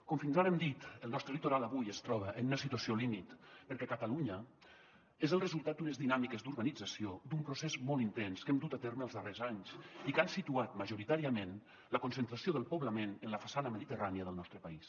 com fins ara hem dit el nostre litoral avui es troba en una situació límit perquè catalunya és el resultat d’unes dinàmiques d’urbanització d’un procés molt intens que hem dut a terme els darrers anys i que han situat majoritàriament la concentració del poblament en la façana mediterrània del nostre país